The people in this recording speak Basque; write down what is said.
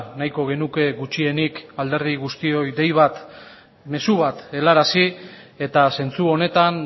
nahiko genuke gutxienik alderdi guztioi dei bat mezu bat helarazi eta zentzu honetan